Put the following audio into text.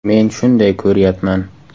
Men shunday ko‘ryapman.